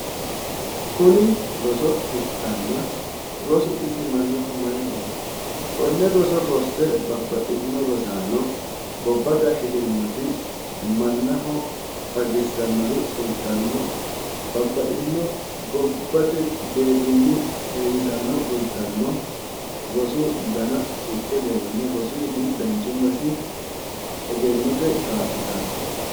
Kuni roso ikkanna rosu isi mannaho maayi horo aano kone roso rosse gobbate ikkittanori fultanottanna rosuti danchumasi egennote kaa'littanote